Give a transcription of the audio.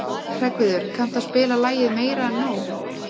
Hreggviður, kanntu að spila lagið „Meira En Nóg“?